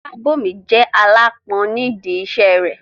Fọlábòmí jẹ́ aláápọn nídi iṣẹ́ rẹ̀